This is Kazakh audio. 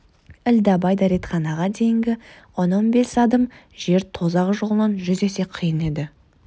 ілдәбай дәретханаға дейінгі он-он бес адым жер тозақ жолынан жүз есе қиын еді